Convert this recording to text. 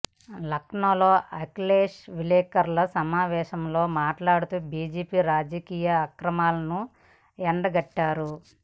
లక్నోలో అఖిలేష్ విలేకరుల సమావేశంలో మాట్లాడుతూ బీజేపీ రాజకీయ అక్రమాలను ఎండగట్టారు